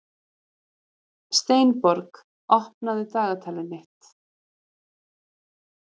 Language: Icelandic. Steinborg, opnaðu dagatalið mitt.